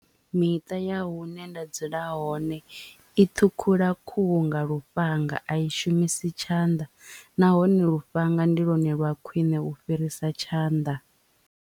Miṱa ya hune nda dzula hone i ṱhukhula khuhu nga lufhanga a i shumisi tshanḓa nahone lufhanga ndi lwone lwa khwiṋe u fhirisa tshanḓa.